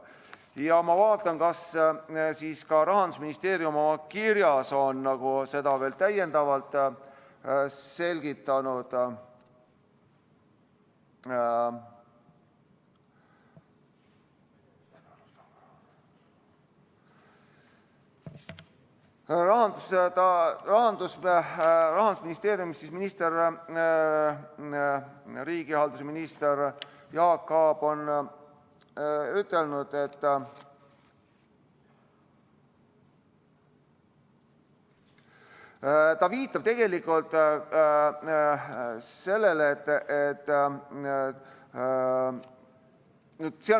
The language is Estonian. Ma vaatan, kas Rahandusministeeriumi kirjas on seda riigihalduse minister Jaak Aab veel täiendavalt selgitanud.